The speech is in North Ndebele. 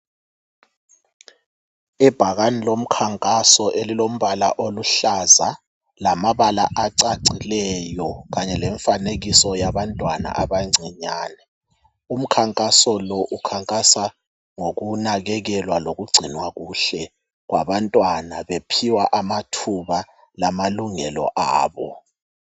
Ibhakane lomkhankaso elilombala oluhlaza lamabala acacileyo kanye lemfanekiso yabantwana abancinyane. Umkhankaso lo ukhankaswa ngokunakekelwa loku gcinwa kuhle kwabantwana bephiwa amathuba lama lungelo abo.